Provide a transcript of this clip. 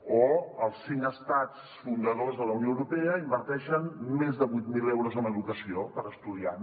o els cinc estats fundadors de la unió europea inverteixen més de vuit mil euros en educació per estudiant